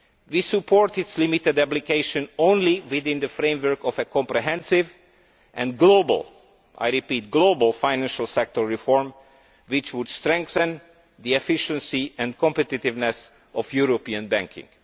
We support its limited application only within the framework of a comprehensive and global and I repeat global financial sector reform which would strengthen the efficiency and competitiveness of European banking.